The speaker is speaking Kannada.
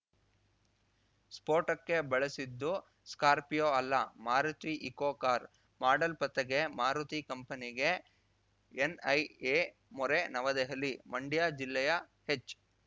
ಸ್ಫೋಟಕ್ಕೆ ಬಳಸಿದ್ದು ಸ್ಕಾರ್ಪಿಯೋ ಅಲ್ಲ ಮಾರುತಿ ಈಕೋ ಕಾರ್ ಮಾಡೆಲ್‌ ಪತ್ತೆಗೆ ಮಾರುತಿ ಕಂಪನಿಗೆ ಎನ್‌ಐಎ ಮೊರೆ ನವದೆಹಲಿ ಮಂಡ್ಯ ಜಿಲ್ಲೆಯ ಹೆಚ್‌